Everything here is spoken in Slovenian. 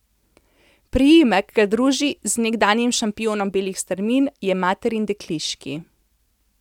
Priimek, ki ga druži z nekdanjim šampionom belih strmin, je materin dekliški.